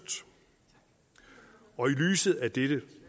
og i lyset af dette